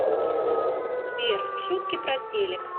сбер шутки про телек